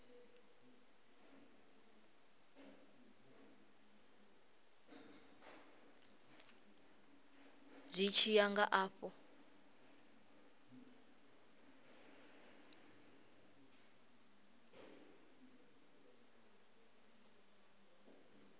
zwi tshi ya nga afho